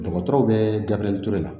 Dɔgɔtɔrɔw bɛ gabriel ture la